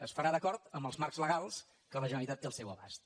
es farà d’acord amb els marcs legals que la generalitat té al seu abast